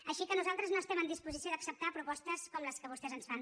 així que nosaltres no estem en disposició d’acceptar propostes com les que vostès ens fan